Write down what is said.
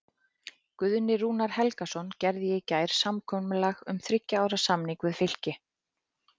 Guðni Rúnar Helgason gerði í gær samkomulag um þriggja ára samning við Fylki.